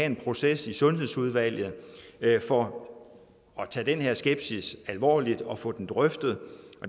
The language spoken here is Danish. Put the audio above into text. en proces i sundhedsudvalget for at tage den her skepsis alvorligt og få den drøftet